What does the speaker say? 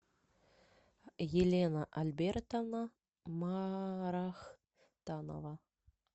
елена альбертовна марахтанова